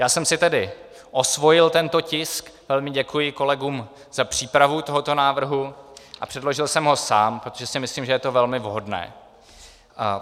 Já jsem si tedy osvojil tento tisk, velmi děkuji kolegům za přípravu tohoto návrhu, a předložil jsem ho sám, protože si myslím, že je to velmi vhodné.